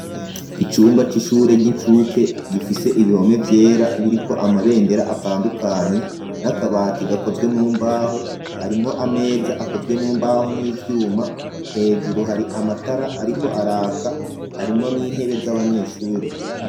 Icumba c'ishure ry'inshuke gifise ibihome vyera biriko amabendera atandukanye ,n'akabati gakozwe mu mbaho harimwo ameza akozwe mu mbaho n'ivyuma ,hejuru hari amatara ariko araka harimwo n'intebe z'abanyeshure.